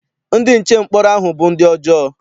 Ndị nche mkpọrọ ahụ bụ ndị ọjọọ.